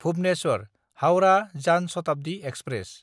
भुबनेस्वर–हाउरा जान शताब्दि एक्सप्रेस